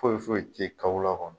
Foyi foyi tɛ k'aw la kɔnni.